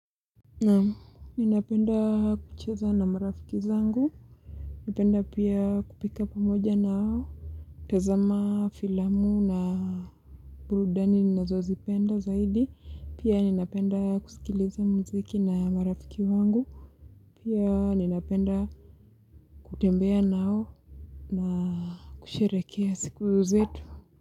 Naam, ninapenda kucheza na marafiki zangu. Napenda pia kupika pamoja nao. Tazama filamu na burudani ninazozipenda zaidi. Pia ninapenda kusikiliza muziki na marafiki wangu. Pia ninapenda kutembea nao na kusherehekea siku zetu.